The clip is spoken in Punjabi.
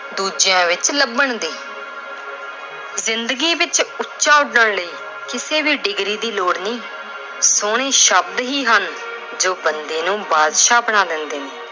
ਦੂਜਿਆਂ ਵਿੱਚ ਲੱਭਣ ਦੀ। ਜ਼ਿੰਦਗੀ ਵਿੱਚ ਉਚਾ ਉਡਣ ਲਈ ਕਿਸੇ ਵੀ degree ਦੀ ਲੋੜ ਨਹੀਂ ਹੁੰਦੀ। ਸੋਹਣੇ ਸ਼ਬਦ ਹੀ ਹਨ ਜੋ ਬੰਦੇ ਨੂੰ ਬਾਦਸ਼ਾਹ ਬਣਾ ਦਿੰਦੇ ਨੇ।